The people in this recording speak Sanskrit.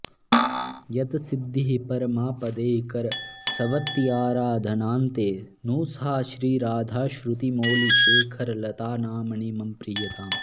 यत् सिद्धिः परमापदैकरसवत्याराधनान्ते नु सा श्रीराधा श्रुतिमौलिशेखरलता नाम्नी मम प्रीयताम्